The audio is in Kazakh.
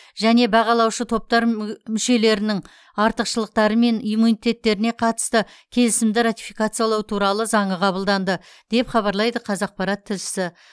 және бағалаушы топтар мүг мүшелерінің артықшылықтары мен иммунитеттеріне қатысты келісімді ратификациялау туралы заңы қабылданды деп хабарлайды қазақпарат тілшісі